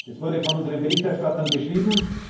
Das wurde von unseren Berichterstattern beschrieben.